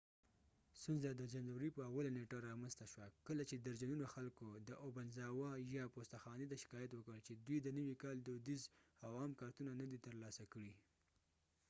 ستونزه د جنوری په اوله نیټه را منځ ته شوه کله چی درجنونو خلکو د اوبنزاوه یا obanzawa پوسته خانی ته شکایت وکړ چی دوی د نوی کال دودیز او عام کارتونه نه دی تر لاسه کړی